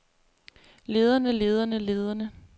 lederne lederne lederne